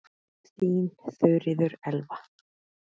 Þín Þuríður Elva.